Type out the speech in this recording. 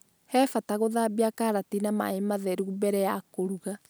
He bata gũthambia karati na maĩ matheru mbere ya kũruga